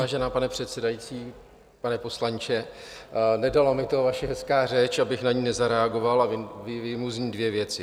Vážená paní předsedající, pane poslanče, nedala mi ta vaše hezká řeč, abych na ni nezareagoval, a vyjmu z ní dvě věci.